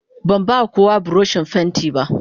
Ban ba kowa buroshin fenti ba.